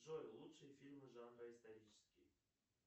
джой лучшие фильмы жанра исторические